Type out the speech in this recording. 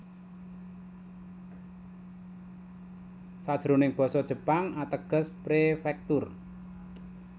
Sajroning basa Jepang ateges prefektur